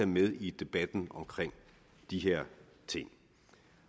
med i debatten om de her ting